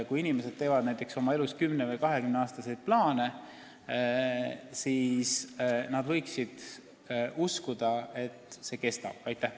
Kui inimesed teevad oma elus plaane 10–20 aastaks, siis nad peavad saama uskuda, et riigi sõna peab.